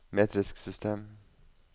metrisk system